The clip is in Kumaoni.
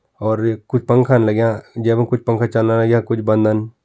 और यख कुछ पंखा लाग्यां येमा कुछ पंखा चलना यख कुछ बंधन।